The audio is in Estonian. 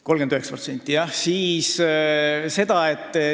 39%!